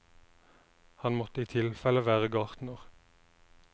Han måtte i tilfelle være gartner.